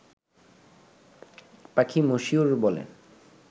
পাখি মশিউর' বলে